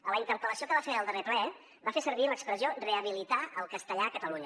a la interpel·lació que va fer al darrer ple va fer servir l’expressió rehabilitar el castellà a catalunya